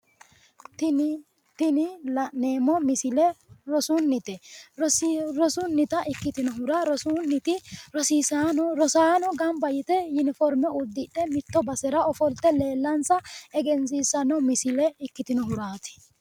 Tini la'neemmo misile rosunnite rosunnita ikkitinohuraa rosunniti rosaano gamba yite yuniforme uddidhe mitto basera ofolte leellansa egensiissanno misile ikkitinohuraati